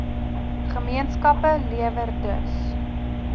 gemeenskappe lewer dus